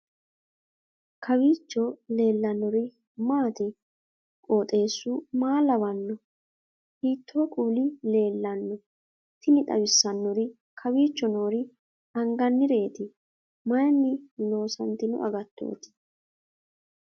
kowiicho leellannori maati ? qooxeessu maa lawaanno ? hiitoo kuuli leellanno ? tini xawissannori kowicho noori angannireeti mayinni loosantino agattooti